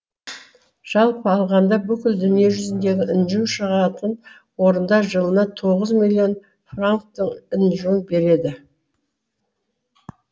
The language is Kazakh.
жалпы алғанда бүкіл дүние жүзіндегі інжу шығатын орындар жылына тоғыз миллион франктың інжуін береді